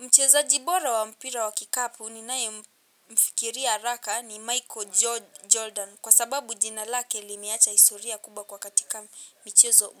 Mchezaji bora wa mpira wa kikapu ninaye mfikiria haraka ni Michael Jordan kwa sababu jina lake limeacha historia kubwa kwa katika